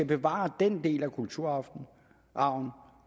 bevare den del af kulturarven